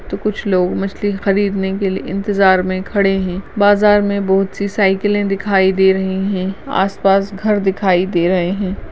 तो कुछ लोग मछली खरदीने के लिए इंतज़ार में खड़े हैं बाजार में बहौत सी साइकिलें दिखाई दे रही हैं आस-पास घर दिखाई दे रहे हैं।